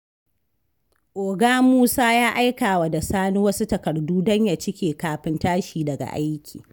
Oga Musa ya aikawa da Sani wasu takardu don ya cike kafin tashi daga aiki.